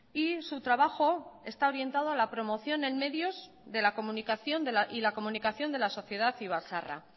y su trabajo está orientado a la promoción en medios de la comunicación y la comunicación de la sociedad ibarzaharra